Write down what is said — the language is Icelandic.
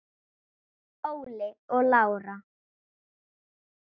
Óli og Lára.